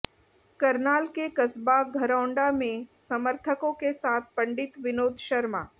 करनाल के कस्बा घरौंडा में समर्थकों के साथ पंडित विनोद शर्मा